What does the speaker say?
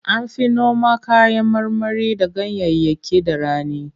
An fi noma kayan marmari da ganyayyaki da rani.